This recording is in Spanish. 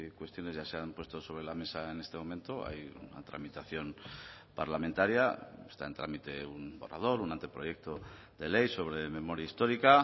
cuestiones ya se han puesto sobre la mesa en este momento hay una tramitación parlamentaria está en trámite un borrador un anteproyecto de ley sobre memoria histórica